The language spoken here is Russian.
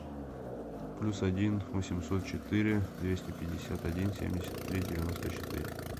плюс один восемьсот четыре двести пятьдесят один семьдесят три девяносто четыре